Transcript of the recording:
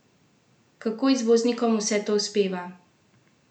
Kako izvoznikom vse to uspeva?